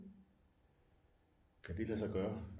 Kan det lade sig gøre